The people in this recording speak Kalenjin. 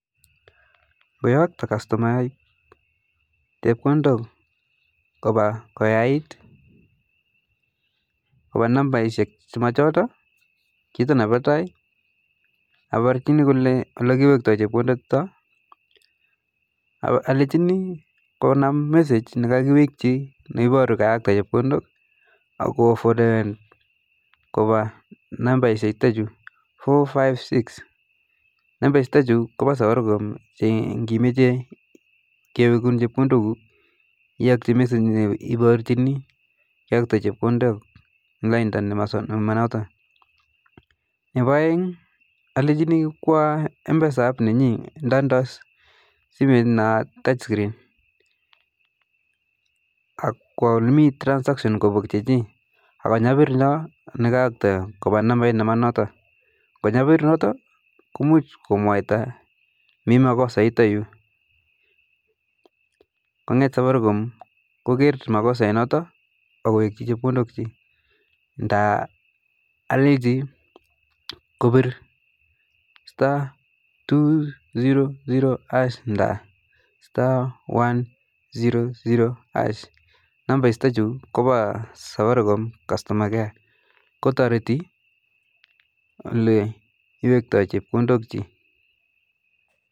Koyakto customayat chepkondok kopa koyait nambaishek che machoto kito ne pa tai aparchini kole kiwektoi chepkondok chuto alechini konam message ne kakiwekchi ne paru kaiyakte cepkondok ako forwaden kopa nambaishek chutachu 456,namba chutachu kopa safaricom cho ngimeche kewekun chepkondok iachi message ne parchini keakte chepkondok eng lainda ne manoto, nepa aeng alechini kwa mpesa app nda ndoi simet na touch screen ak kwa ole mii transaction kopok chichii akonyapir yoo ole kaiyokto kopa nambait ne manoto, ngo nyapir yoto ko muj komwata mi makosait yutayu konget safaricom koker makosait noto akoweji chepkondok chii nda alechi kupir *200# nda *100# nambaishek ko pa safraricom customer care kotariti ole kiwektoi chepkondok chii